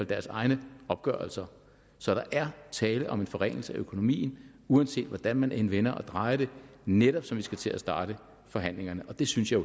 deres egne opgørelser så der er tale om en forringelse af økonomien uanset hvordan man end vender og drejer det netop som vi skal til at starte forhandlingerne og det synes jeg